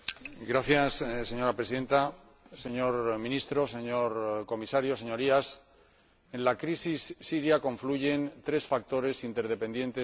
Señora Presidenta, señor Ministro, señor Comisario, Señorías, en la crisis siria confluyen tres factores interdependientes y en evolución.